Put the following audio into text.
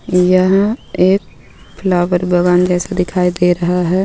यह एक फ्लावर बगान जैसा दिखाई दे रहा हे.